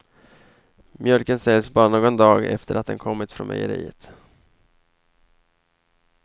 Mjölken säljs bara någon dag efter att den kommit från mejeriet.